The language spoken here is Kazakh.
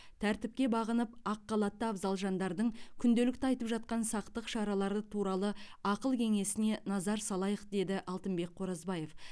тәртіпке бағынып ақ халатты абзал жандардың күнделікті айтып жатқан сақтық шаралары туралы ақыл кеңесіне назар салайық деді алтынбек қоразбаев